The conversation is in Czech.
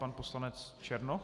Pan poslanec Černoch.